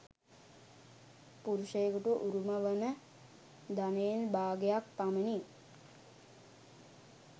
පුරුෂයකුට උරුම වන ධනයෙන් භාගයක් පමණි .